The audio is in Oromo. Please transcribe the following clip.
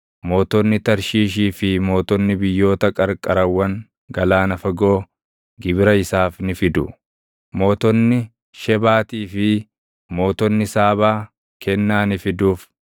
Mootonni Tarshiishii fi mootonni biyyoota qarqarawwan galaana fagoo gibira isaaf ni fidu; mootonni Shebaatii fi mootonni Saabaa kennaa ni fiduuf.